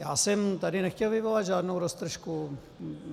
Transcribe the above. Já jsem tady nechtěl vyvolat žádnou roztržku.